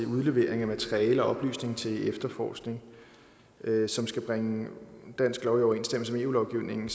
udlevering af materiale og oplysninger til efterforskning som skal bringe dansk lov i overensstemmelse med eu lovgivningen